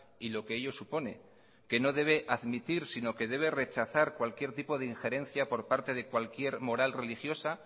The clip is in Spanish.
y lo que ello supone que no debe admitir sino que debe rechazar cualquier tipo de ingerencia por parte de cualquier moral religiosa